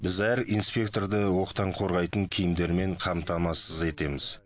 біз әр инспекторды оқтан қорғайтын киімдермен қамтамасыз етеміз